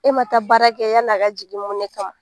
E ma taa baara kɛ yani a ka jigin mun ne kama